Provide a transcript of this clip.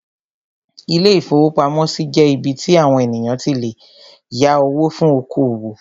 Ilé-ìfowópamọ́sí jẹ́ ibí tí àwon ènìyàn tí lè yá owó fún oko-òwò